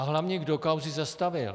A hlavně, kdo kauzy zastavil.